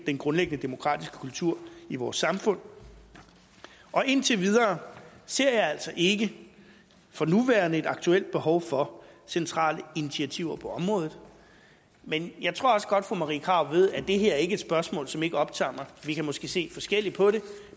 grundlæggende demokratiske kultur i vores samfund og indtil videre ser jeg altså ikke for nuværende et aktuelt behov for centrale initiativer på området men jeg tror også godt fru marie krarup ved at det her ikke er et spørgsmål som ikke optager mig vi kan måske se forskelligt på det